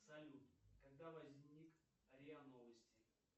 салют когда возник риа новости